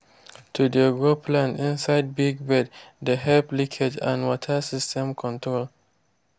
to de grow plants inside big beds de help leakage and water system control.